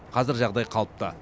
қазір жағдай қалыпты